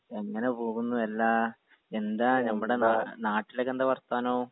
എങ്ങനെ പോകുന്നു എല്ലാ എന്താ നമ്മടെ നാ നാട്ടിലെക്കെന്താ വർത്താനൊ